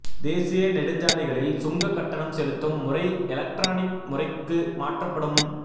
தேசிய நெடுஞ்சாலைகளில் சுங்க கட்டணம் செலுத்தும் முறை எலக்ட்ரானிக் முறைக்கு மாற்றப்படும்